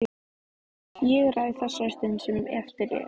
Ég ræð þessari stund sem eftir er.